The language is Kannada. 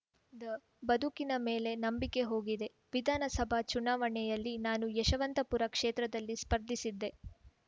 ದ ಬದುಕಿನ ಮೇಲೆ ನಂಬಿಕೆ ಹೋಗಿದೆ ವಿಧಾನಸಭಾ ಚುನಾವಣೆಯಲ್ಲಿ ನಾನು ಯಶವಂತಪುರ ಕ್ಷೇತ್ರದಲ್ಲಿ ಸ್ಪರ್ಧಿಸಿದ್ದೆ